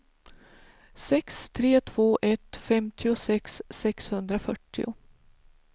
sex tre två ett femtiosex sexhundrafyrtio